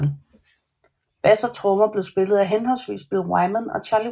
Bass og trommer blev spillet af henholdsvis Bill Wyman og Charlie Watts